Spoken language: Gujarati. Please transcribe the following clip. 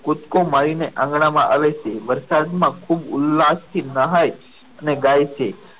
કુદકો મારીને આંગણામાં આવે છે વરસાદમાં ખૂબ ઉલ્લાસ્થી નહાય અને ગાય છે.